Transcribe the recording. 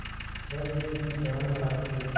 रख दे जी जान लड़ा के